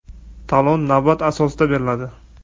Talon navbat asosida beriladi.